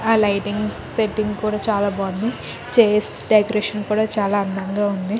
ఆ lighting setting కూడా చాలా బాగుంది. చైర్స్ డెకరేషన్ కూడా చాలా అందంగా ఉంది.